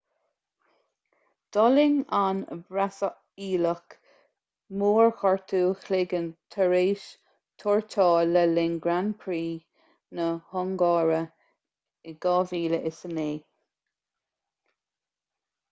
d'fhulaing an brasaíleach mórghortú cloiginn tar éis tuairteáil le linn grand prix na hungáire 2009